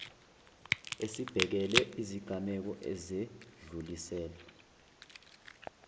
esibhekele izigameko ezedluliselwe